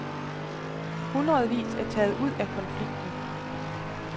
Hundredvis er taget ud af konflikten.